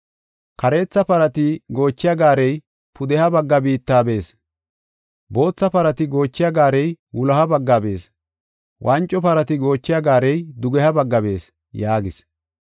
Kareetha parati goochiya gaarey pudeha bagga biitta bees; bootha parati goochiya gaarey wuloha bagga bees; wanco parati goochiya gaarey dugeha bagga bees” yaagis.